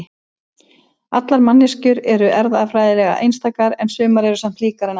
allar manneskjur eru erfðafræðilega einstakar en sumar eru samt líkari en aðrar